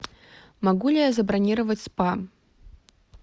могу ли я забронировать спа